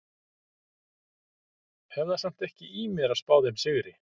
Hef það samt ekki í mér að spá þeim sigri.